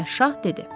Günəş şah dedi: